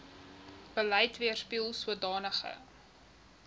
beleid weerspieel sodanige